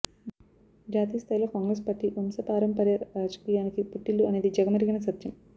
జాతీయస్థాయిలో కాంగ్రెస్ పార్టీ వంశపారంపర్య రాజకీయానికి పుట్టిల్లు అనేది జగమెరిగిన సత్యం